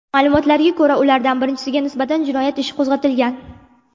Ma’lumotlarga ko‘ra, ulardan birinchisiga nisbatan jinoyat ishi qo‘zg‘atilgan.